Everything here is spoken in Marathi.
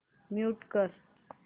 म्यूट कर